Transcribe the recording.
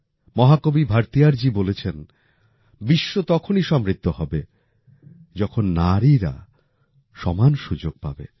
মহাকবি ভারতীয়ারজি বলেছেন বিশ্ব তখনই সমৃদ্ধ হবে যখন নারীরা সমান সুযোগ পাবে